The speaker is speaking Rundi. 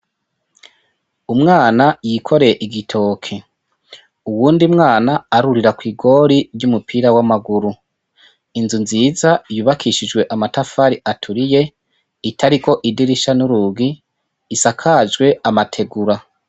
Umwana yikoreye igitoke, uwundi mwana arurira kw'igori ry'umupira w'amaguru. Inzu nziza yubakishijwe amatafari aturiye, itariko idirisha n'urugi, isakajwe amategura.